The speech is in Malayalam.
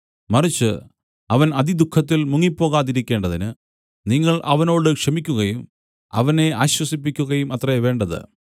മറിച്ച് അവൻ അതിദുഃഖത്തിൽ മുങ്ങിപ്പോകാതിരിക്കേണ്ടതിന് നിങ്ങൾ അവനോട് ക്ഷമിക്കുകയും അവനെ ആശ്വസിപ്പിക്കുകയും അത്രേ വേണ്ടത്